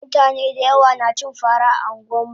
mutane dayawa nacin fara a anguwanmu